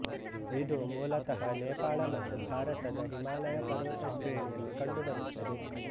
ಇದು ಮೂಲತಃ ನೇಪಾಳ ಮತ್ತು ಭಾರತದ ಹಿಮಾಲಯ ಪರ್ವತ ಶ್ರೇಣಿಯಲ್ಲಿ ಕಂಡುಬರುತ್ತದೆ